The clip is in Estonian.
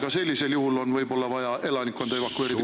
Ka sellisel juhul on võib-olla vaja elanikkonda evakueerida.